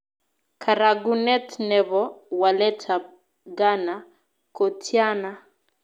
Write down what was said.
Karagunet ne po waletap ghana kotiana